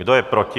Kdo je proti?